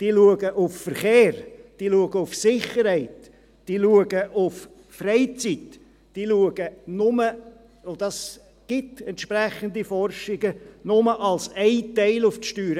Sie achten auf Verkehr, sie achten auf Sicherheit, sie achten auf Freizeit, sie achten – und es gibt entsprechende Forschungen – nur zu einem Teil auf die Steuern.